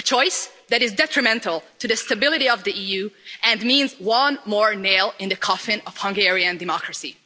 A choice that is detrimental to the stability of the EU and means one more nail in the coffin of Hungarian democracy.